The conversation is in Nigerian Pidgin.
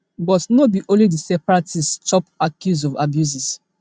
but no be only di separatists chop accuse of abuses